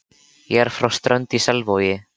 Ég er frá Strönd í Selvogi.